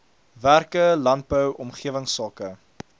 werke landbou omgewingsake